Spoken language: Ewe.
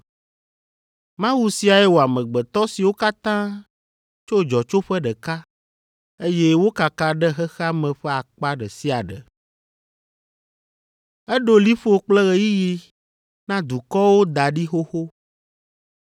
Mawu siae wɔ amegbetɔ siwo katã tso dzɔtsoƒe ɖeka, eye wokaka ɖe xexea me ƒe akpa ɖe sia ɖe. Eɖo liƒo kple ɣeyiɣi na dukɔwo da ɖi xoxo.